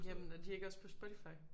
Jamen er de ikke også på Spotify?